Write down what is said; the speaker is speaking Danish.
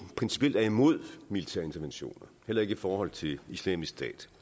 principielt er imod militære interventioner heller ikke i forhold til islamisk stat